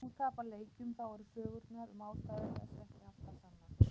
Þegar þú tapar leikjum þá eru sögurnar um ástæður þess ekki alltaf sannar.